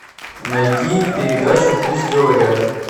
найди передачу пусть говорят